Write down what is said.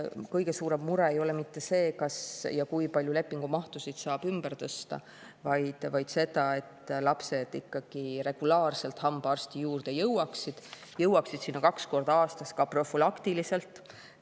Kõige suurem mure ei ole mitte see, kas ja kui palju lepingumahtusid saab ümber tõsta, vaid see, et lapsed ikkagi regulaarselt hambaarsti juurde jõuaksid, et nad jõuaksid sinna kaks korda aastas ka profülaktiliselt.